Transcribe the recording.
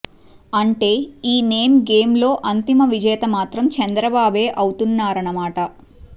అంటే ఈ నేమ్ గేమ్లో అంతిమ విజేత మాత్రం చంద్రబాబే అవుతారన్నమాట